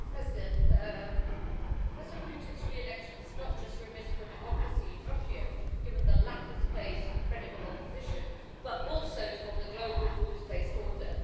Madam President, President Putin's re election is not just remiss for democracy in Russia, given the lack of space for credible opposition, but also for the global rules based order.